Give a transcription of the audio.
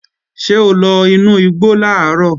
Ṣé o lọ inú igbo làárọ̀?